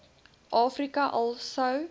afrika al sou